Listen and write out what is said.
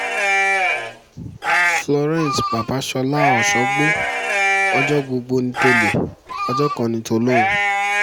florence babasola ọ̀ṣọ́gbó ọjọ́ gbogbo ní tò̩lé̩ ọjọ́ kan ní tò̩ló̩hún